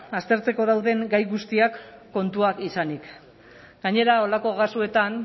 aztertzeko dauden gai guztiak kontuan izanik gainera horrelako kasuetan